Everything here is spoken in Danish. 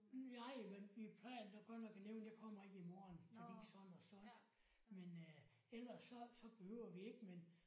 Nej men vi plejer da godt nok at nævne jeg kommer ikke i morgen fordi sådan og sådan men øh ellers så så behøver vi ikke men